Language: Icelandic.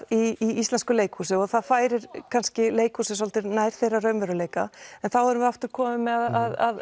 í íslensku leikhúsi og það færir kannski leikhúsið svolítið nær þeirra raunveruleika en þá erum við aftur komin með að